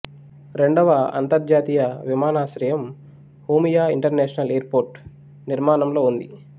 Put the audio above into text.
రెండవ అంతర్జాతీయ విమానాశ్రయం హోమియా ఇంటర్నేషనల్ ఎయిర్పోర్టు నిర్మాణంలో ఉంది